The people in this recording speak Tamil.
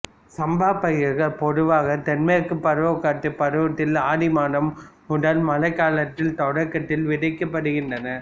சம்பா பயிர்கள் பொதுவாக தென்மேற்கு பருவக்காற்று பருவத்தில் ஆடி மாதம் முதல் மழைக்காலத்தின் தொடக்கத்தில் விதைக்கப்படுகின்றன